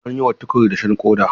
An yi wa Tukur dashen ƙoda.